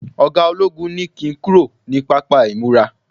oga ologun ni kin kúrò ni papa imura